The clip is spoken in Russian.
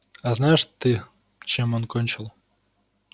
а знаешь ты чем он кончил